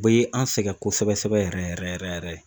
U be an sɛngɛ kosɛbɛ sɛbɛ yɛrɛ yɛrɛ yɛrɛ.